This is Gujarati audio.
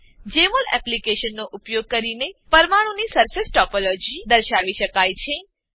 જેમોલ એપ્લીકેશનનો ઉપયોગ કરીને પરમાણુઓની સરફેસ ટોપોલોજી સરફેસ ટોપોલોજી દર્શાવી શકાય છે